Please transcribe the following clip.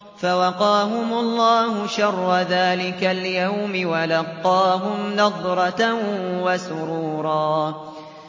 فَوَقَاهُمُ اللَّهُ شَرَّ ذَٰلِكَ الْيَوْمِ وَلَقَّاهُمْ نَضْرَةً وَسُرُورًا